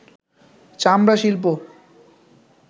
চামড়া শিল্প